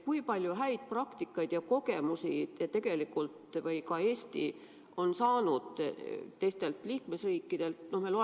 Kui palju häid praktikaid ja kogemusi on Eesti saanud teistelt liikmesriikidelt?